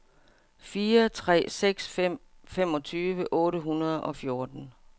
fire tre seks fem femogtyve otte hundrede og fjorten